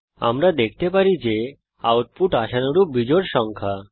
আমরা দেখতে পারি যে আউটপুট আশানুরূপ বিজোড় সংখ্যা